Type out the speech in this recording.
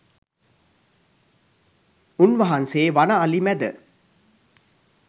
උන්වහන්සේ වන අලි මැද